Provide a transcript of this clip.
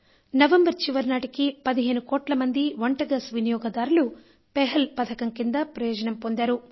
November చివరి నాటికి 15 కోట్ల మంది వంట గ్యాస్ వినియోగదారులు పెహల్ పథకం కింద ప్రయోజనం పొందారు